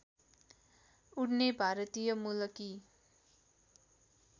उड्ने भारतीय मूलकी